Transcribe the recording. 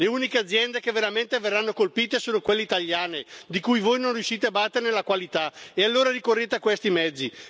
Le uniche aziende che veramente verranno colpite sono quelle italiane, di cui voi non riuscite a battere la qualità, e allora ricorrete a questi mezzi.